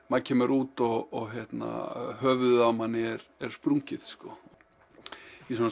maður kemur út og höfuðið á manni er er sprungið í